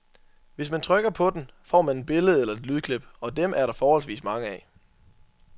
Hvis man trykker på den, får man et billede eller et lydklip, og dem er der forholdsvis mange af.